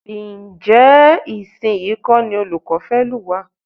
Ǹjẹ́ ìsinyìí kọ́ ní olùkọ́ fẹ́ lù wá?